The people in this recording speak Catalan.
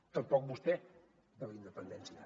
tampoc vostè de la independència